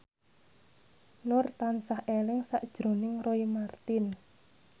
Nur tansah eling sakjroning Roy Marten